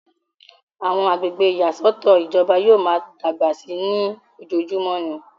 àwọn agbègbè ìyàsọ́tọ̀ ìjọba yóò máa dàgbà sí i ní ojojúmọ́ ni